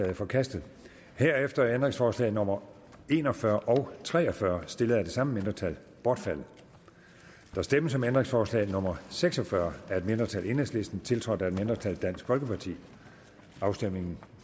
er forkastet herefter er ændringsforslag nummer en og fyrre og tre og fyrre stillet af det samme mindretal bortfaldet der stemmes om ændringsforslag nummer seks og fyrre af et mindretal tiltrådt af et mindretal afstemningen